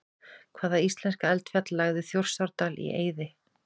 Hvaða íslenska eldfjall lagði Þjórsárdal í eyði?